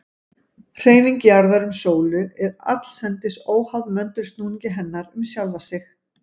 Hreyfing jarðar um sólu er allsendis óháð möndulsnúningi hennar um sjálfa sig.